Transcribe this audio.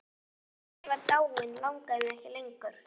Og þegar hann var dáinn langaði mig ekki lengur.